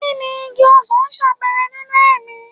Kí ni igi ọsan ṣàpẹẹrẹ nínú ẹ̀mí?